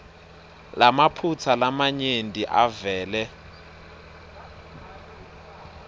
lamaphutsa lamanyenti avele